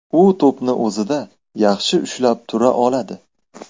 U to‘pni o‘zida yaxshi ushlab tura oladi.